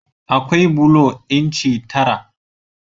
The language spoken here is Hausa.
Akwai bulo inci tara.